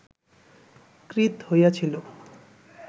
ক্রীত হইয়াছিল